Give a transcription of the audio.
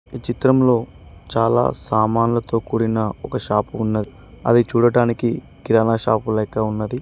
ఈ చిత్రంలో చాలా సామాన్లతో కూడిన ఒక షాప్ ఉన్నది అది చూడటానికి కిరాణా షాపు లెక్క ఉన్నది.